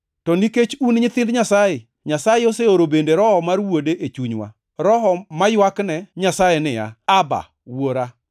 To nikech un nyithind Nyasaye, Nyasaye oseoro bende Roho mar Wuode e chunywa. Roho maywakne Nyasaye niya, “ Abba! + 4:6 Abba en dho jo-Hibrania ma tiende ni wuora. Wuora.”